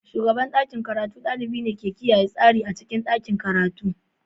Shugaban ɗakin karatu ɗalibi ne ke kiyaye tsari a cikin ɗakin karatu.